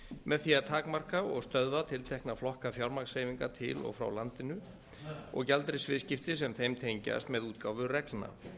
með því að takmarka og stöðva tiltekna flokka fjármagnshreyfinga til og frá landinu og gjaldeyrisviðskipti sem þeim tengjast með útgáfu reglna